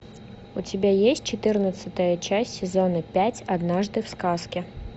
у тебя есть четырнадцатая часть сезона пять однажды в сказке